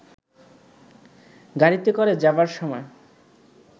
গাড়ীতে করে যাবার সময়